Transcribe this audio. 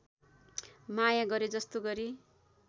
माया गरेजस्तो गरी